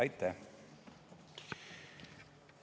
Aitäh!